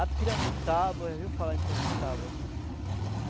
A piramutaba, já ouviu falar em piramutaba?